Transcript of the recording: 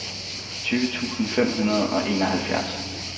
tyve tusind fem hundrede og enoghalvfjerds